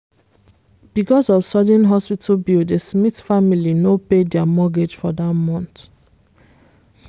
because of sudden hospital bill the smith family no pay their mortgage for that month.